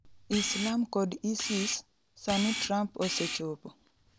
Islam kod Isis, sani Trump osechopo.